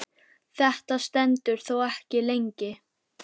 Þetta stendur þó ekki lengi.